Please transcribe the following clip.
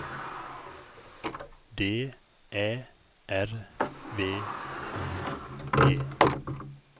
D Ä R V I D